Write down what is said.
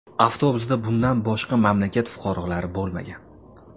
Avtobusda bundan boshqa mamlakat fuqarolari bo‘lmagan.